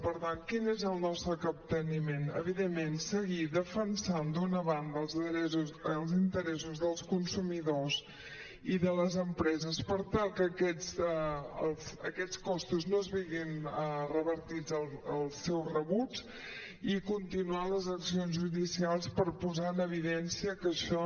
per tant quin és el nostre capteniment evidentment seguir defensant d’una banda els interessos dels consumidors i de les empreses per tal que aquests costos no es vegin revertits als seus rebuts i continuar les accions judicials per posar en evidència que això